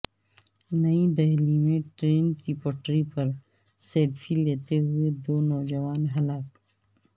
نئی دہلی میں ٹرین کی پٹری پر سیلفی لیتے ہوئے دو نوجوان ہلاک